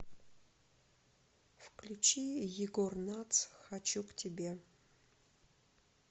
включи егор натс хочу к тебе